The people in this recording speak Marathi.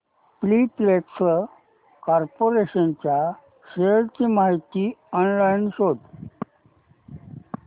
पॉलिप्लेक्स कॉर्पोरेशन च्या शेअर्स ची माहिती ऑनलाइन शोध